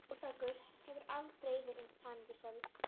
Þórbergur hefur aldrei verið eins hamingjusamur.